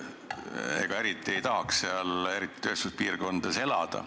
Ega eriti ei tahaks seal tööstuspiirkonnas elada.